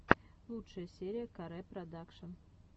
лучшая серия ка ре продакшен